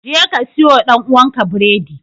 Jeka siyowa ɗan'uwanka biredi!